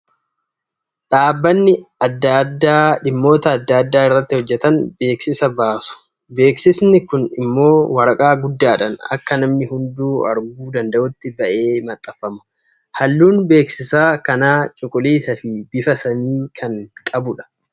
Dhaabbanni adda addaa dhimmoota adda addaa irratti hojjetan beeksisa baasu. Beeksisni kun immoo waraqa guddaadhaan akka namni hunduu arguu danda'utti ba'ee maxxanfama. Halluun beeksisa kanaa cuquliisaa fi bifa samii kan qabudha.